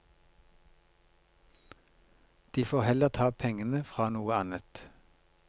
De får heller ta pengene fra noe annet.